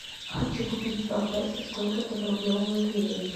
хочу купить два песо сколько это в рублевом эквиваленте